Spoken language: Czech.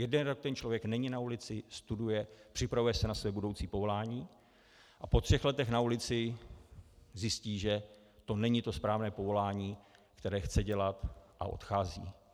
Jeden rok ten člověk není na ulici, studuje, připravuje se na své budoucí povolání a po třech letech na ulici zjistí, že to není to správné povolání, které chce dělat, a odchází.